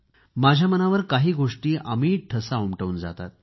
माझ्या मनावर काही गोष्टी अमिट ठसा उमटवून जातात